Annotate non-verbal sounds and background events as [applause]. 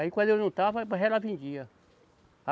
Aí quando eu não estava, [unintelligible] ela vendia.